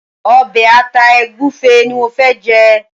obe ata egufe ní mọ fè jé.